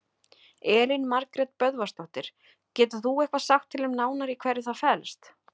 Elín Margrét Böðvarsdóttir: Getur þú eitthvað sagt til um nánar í hverju það felst?